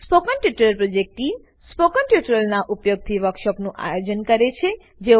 spoken tutorial project team spoken ટ્યુટોરીયલોનાં ઉપયોગથી વર્કશોપોનું આયોજન કરે છે